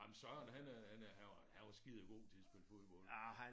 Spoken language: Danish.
Nej men Søren han øh han er han var han var skidegod til at spille fodbold